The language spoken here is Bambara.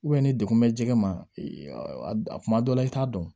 ni dekun mɛ jɛgɛ ma a kuma dɔ la i t'a dɔn